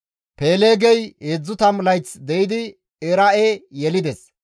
Peeleegey 30 layth de7idi Era7e yelides;